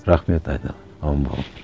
рахмет айналайын аман болыңдар